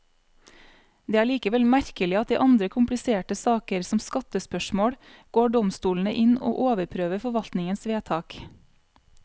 Det er likevel merkelig at i andre kompliserte saker, som skattespørsmål, går domstolene inn og overprøver forvaltningens vedtak.